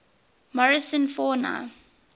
morrison fauna